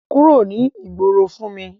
Kúrò ní ìgboro fún mi!